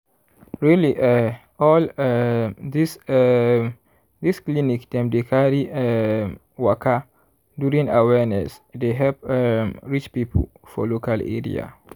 really eh all um this um this clinic dem dey carry um waka during awareness dey help um reach people for local area.